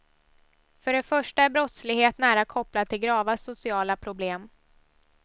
För det första är brottslighet nära kopplad till grava sociala problem.